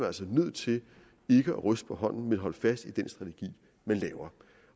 altså nødt til ikke at ryste på hånden men holde fast i den strategi man lægger